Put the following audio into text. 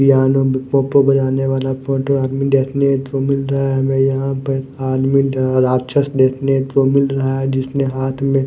आने वाला फोटो आदमी देखने को मिल रहा है हमे यहां पर मिल रहा राक्षस देखने को मिल रहा है जिसने हाथ में--